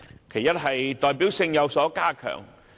其一是代表性有所加強。